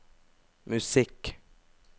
musikk